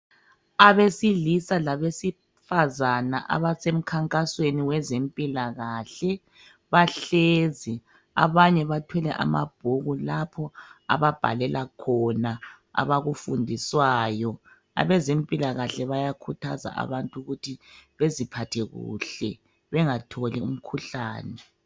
Abesilisa labezifazana abasemkhankasweni wezempilakahle bahlezi abanye bathwele amabhuku lapho ababhalela khona abakufundiswayo abazempilakahke bayakhuthaza abantu ukuthi baziphathe kuhle bengatholi imikhuhlane.